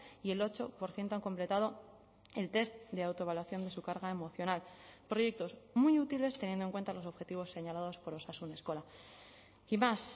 y el ocho por ciento han completado el test de autoevaluación de su carga emocional proyectos muy útiles teniendo en cuenta los objetivos señalados por osasun eskola y más